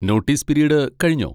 Notice period കഴിഞ്ഞോ?